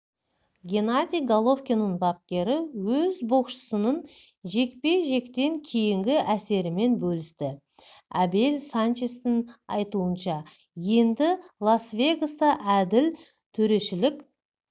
геннадий головкиннің бапкері өз боксшысының жекпе-жектен кейінгі әсерімен бөлісті абел санчестің айтуынша енді лас-вегаста әділ төрешілік